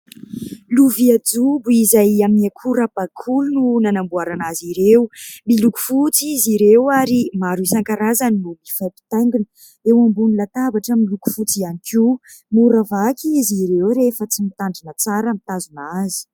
Lovia jobo izay amin'ny akora bakoly no nanamboarana azy ireo. Miloko fotsy izy ireo ary maro isan-karazany no mifampitaingina eo ambonin'ny latabatra miloko fotsy ihany koa. Mora vaky izy ireo rehefa tsy mitandrina tsara mitazona azy.